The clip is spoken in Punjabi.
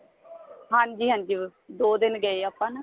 ਹਾਂਜੀ ਹਾਂਜੀ ਦੋ ਦਿਨ ਗਏ ਆਪਾਂ ਨਾ